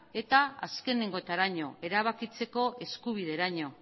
eta azkenengoetaraino erabakitzeko eskubideraino